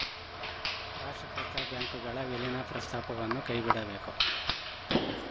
ರಾಷ್ಟ್ರೀಕೃತ ಬ್ಯಾಂಕ್‌ಗಳ ವಿಲೀನ ಪ್ರಸ್ತಾಪವನ್ನು ಕೈಬಿಡಬೇಕು